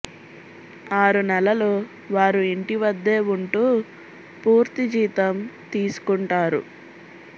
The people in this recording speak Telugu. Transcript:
ఆరు నెలలు వారు ఇంటి వద్దే ఉంటూ పూర్తి జీతం తీసుకుంటారు